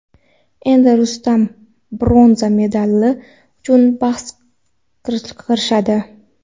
Endi Rustam bronza medali uchun bahs kirishadi.